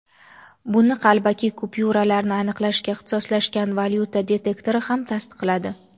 buni qalbaki kupyuralarni aniqlashga ixtisoslashgan valyuta detektori ham tasdiqladi.